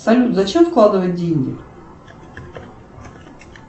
салют зачем вкладывать деньги